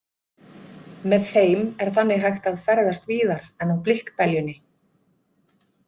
Með þeim er þannig hægt að ferðast víðar en á blikkbeljunni.